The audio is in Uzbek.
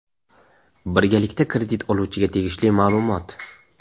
birgalikda kredit oluvchiga tegishli ma’lumot.